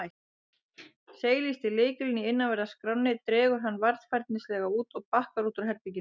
Seilist í lykilinn í innanverðri skránni, dregur hann varfærnislega út og bakkar út úr herberginu.